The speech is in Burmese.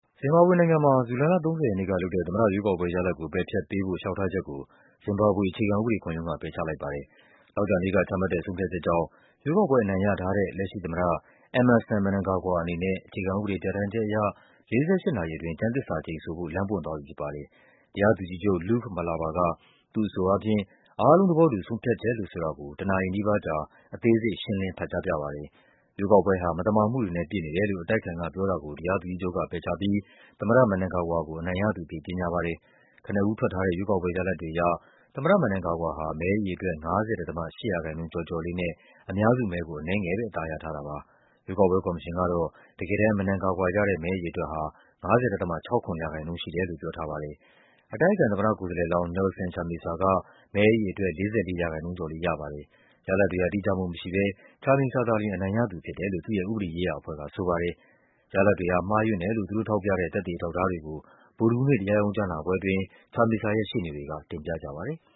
ဇင်ဘာဘွေနိုင်ငံမှာ ဇူလိုင်လ ၃၀ ရက်နေ့ကလုပ်တဲ့ သမ္မတရွေးကောက်ပွဲရလဒ်ကို ပယ်ဖျက်ပေးဖို့ လျှောက်ထားချက်ကို ဇင်ဘာဘွေ အခြေခံဥပဒေခုံရုံးက ပယ်ချလိုက်ပါတယ်။ သောကြာနေ့က ချမှတ်တဲ့ ဆုံးဖြတ်ချက်ကြောင့် ရွေးကောက်ပွဲအနိုင်ရထားတဲ့ လက်ရှိသမ္မတ Emmerson Mnangagwa အနေနဲ့ အခြေခံဥပဒေပြဌာန်းချက်အရ ၄၈ နာရီအတွင်း ကျမ်းသစ္စာ ကျိန်ဆိုဖို့ လမ်းပွင့်သွားပြီဖြစ်ပါတယ်။ တရားသူကြီးချုပ် Luke Malaba က သူ့အဆိုအားဖြင့် အားလုံးသဘောတူ ဆုံးဖြတ်ချက်လို့ဆိုတာကို တနာရီနီးပါးကြား အသေးစိတ် ရှင်းလင်း ဖတ်ကြပြပါတယ်။ ရွေးကောက်ပွဲဟာ မသမာမှုတွေနဲ့ ပြည့်နေတယ်လို့ အတိုက်အခံကပြောတာကို တရားသူကြီးချုပ်က ပယ်ချပြီး သမ္မတ Mnangagwa ကို အနိုင်ရသူအဖြစ် ကြေညာပါတယ်။ ကနဦးထွက်ထားတဲ့ ရွေးကောက်ပွဲရလဒ်တွေအရ သမ္မတ Mnangagwa ဟာ မဲအရေအတွက် ၅၀.၈% ကျော်ကျော်လေးနဲ့ အများစုမဲကို အနည်းငယ်ပဲ အသာရထားတာပါ။ ရွေးကောက်ပွဲ ကော်မရှင်ကတော့ တကယ်တမ်း Mnangagwa ရတဲ့မဲအရေ အတွက်ဟာ ၅၀.၆၇% ရှိတယ်လို့ ပြောထားပါတယ်။ အတိုက်အခံသမ္မတကိုယ်စားလှယ်လောင်း Nelson Chamisa က မဲအရေအတွက် ၄၄% ကျော် လေးရပါတယ်။ ရလဒ်တွေဟာ တိကျမှုမရှိဘဲ Chamisa သာလျှင် အနိုင်ရသူဖြစ်တယ်လို့ သူ့ရဲ့ဥပဒေရေးရာအဖွဲ့ကဆိုပါတယ်။ ရလဒ်တွေဟာ မှားယွင်းတယ်လို့ သူတို့ထောက်ပြတဲ့ သက်သေအထောက်အထားတွေကို ဗုဒ္ဓဟူးနေ့ တရားရုံးကြားနာပွဲအတွင်း Chamisa ရဲ့ရှေ့နေတွေက တင်ပြပါတယ်။